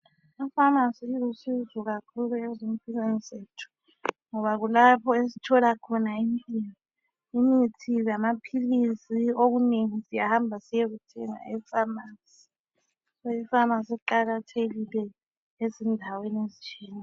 Amafamasi alusizo kakhulu emphilweni zethu. Ngoba kulapho esithola khona imithi lamapilisi. Okunengi siyahamba siyethenga efamasi. Amafamasi aqakhathekile endaweni ezitshiyeneyo.